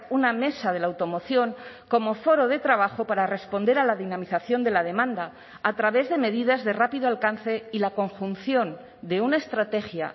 una mesa de la automoción como foro de trabajo para responder a la dinamización de la demanda a través de medidas de rápido alcance y la conjunción de una estrategia